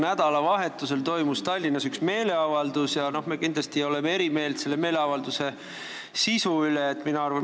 Nädalavahetusel toimus Tallinnas üks meeleavaldus ja me kindlasti oleme selle sisu osas eri meelt.